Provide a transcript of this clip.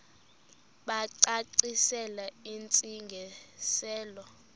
bacacisele intsi ngiselo